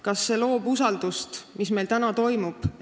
Kas see, mis meil praegu toimub, loob usaldust?